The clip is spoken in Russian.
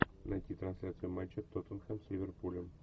найти трансляцию матча тоттенхэм с ливерпулем